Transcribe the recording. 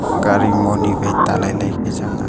gari moni wai talailai ku changa.